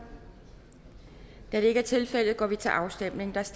da det ikke er tilfældet går vi til afstemning